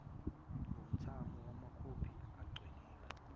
ngomthamo wamakhophi aceliwe